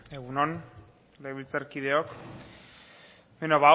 egun on legebiltzarkideok bueno ba hau